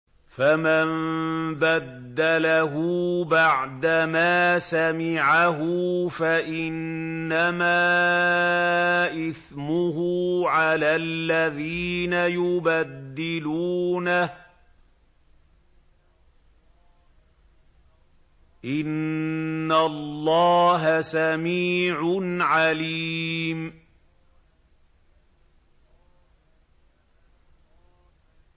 فَمَن بَدَّلَهُ بَعْدَمَا سَمِعَهُ فَإِنَّمَا إِثْمُهُ عَلَى الَّذِينَ يُبَدِّلُونَهُ ۚ إِنَّ اللَّهَ سَمِيعٌ عَلِيمٌ